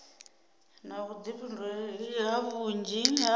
na vhuḓifhinduleli ha vhunzhi ha